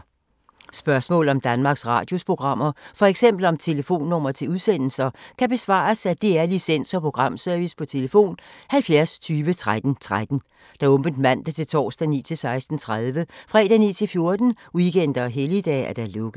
Spørgsmål om Danmarks Radios programmer, f.eks. om telefonnumre til udsendelser, kan besvares af DR Licens- og Programservice: tlf. 70 20 13 13, åbent mandag-torsdag 9.00-16.30, fredag 9.00-14.00, weekender og helligdage: lukket.